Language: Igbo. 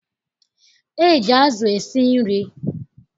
E ji azụ esi nri.